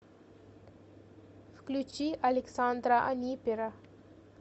включи александра анипера